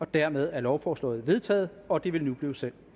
dermed er lovforslaget vedtaget og det vil nu blive sendt